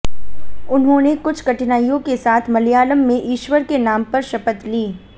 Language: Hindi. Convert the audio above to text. उन्होंने कुछ कठिनाइयों के साथ मलयालम में ईश्वर के नाम पर शपथ ली